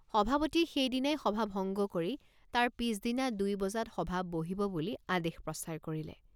সভাপতিয়ে সেইদিনালৈ সভা ভঙ্গ কৰি তাৰ পিচদিনা দুই বজাত সভা বহিব বুলি আদেশ প্ৰচাৰ কৰিলে।